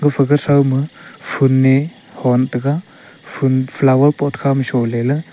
gafa gathow ma phool ma hon taga phool flower pot kha ma chole lah.